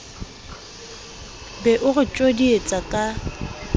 be o re tjodietsa ka